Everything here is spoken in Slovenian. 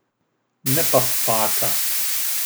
Ne pa spaka.